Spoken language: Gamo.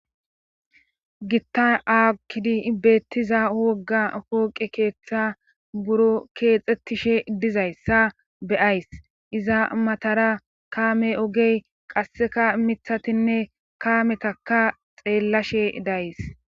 gitta aakidi beettiza wogga wooqe keeththa buro keexettishe dizayssa beyays iza matara kaame ogey qasseka mithatinne kaametaka xeellashe days